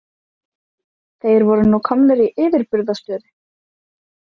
Þeir voru nú komnir í yfirburðastöðu.